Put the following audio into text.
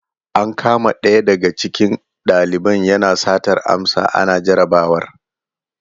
An kama ɗaya daga cikin valiban yana satar amsa ana jarabawar.